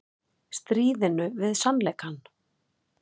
Stríðinu við sannleikann